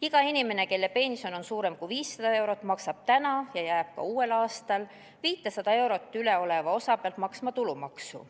Iga inimene, kelle pension on suurem kui 500 eurot, maksab praegu ja jääb ka uuel aastal 500 eurot ületava osa pealt maksma tulumaksu.